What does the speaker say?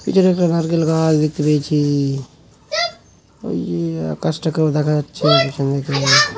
পিছনে একটা নারকেল গাছ-ই দেখতে পেয়েছি-ই ওই আকাশটাকে ও দেখা যাচ্ছে পেছন দিকে।